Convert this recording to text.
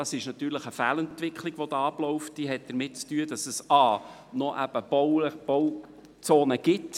Das ist eine Fehlentwicklung, die damit zu tun hat, dass es an diesen peripheren Lagen immer noch Bauzonen gibt.